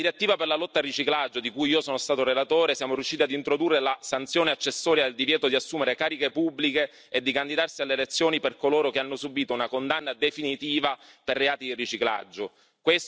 Nella direttiva per la lotta al riciclaggio di cui io sono stato relatore, siamo riusciti ad introdurre la sanzione accessoria al divieto di assumere cariche pubbliche e di candidarsi alle elezioni per coloro che hanno subito una condanna definitiva per reati di riciclaggio.